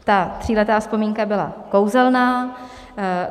Ta tříletá vzpomínka byla kouzelná.